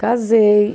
Casei